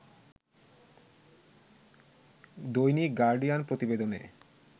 দৈনিক গার্ডিয়ান প্রতিবেদনে